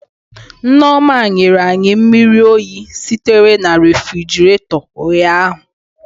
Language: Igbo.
Nneoma nyere anyị mmiri oyi sitere na refigerator ụnyahụ